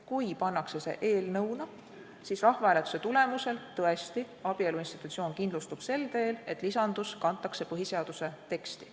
Kui see pannakse eelnõuna, siis rahvahääletuse tulemusel tõesti abielu institutsioon kindlustub sel teel, et lisandus kantakse põhiseaduse teksti.